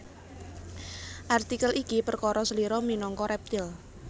Artikel iki perkara slira minangka rèptil